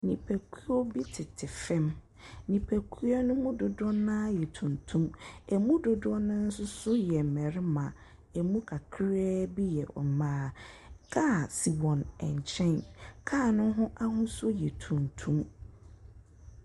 Nnipakuo bi tete fam, nnipakuo ne mu dodoɔ no ara yɛ tuntum, ɛmu dododɔ no ara nso yɛ mmarima, ɛmu kakraabi yɛ mmaa. Kaa si wɔn nkyɛn, kaa no ho ahosuo yɛ tuntum.